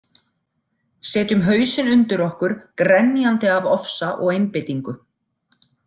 Setjum hausinn undir okkur grenjandi af ofsa og einbeitingu.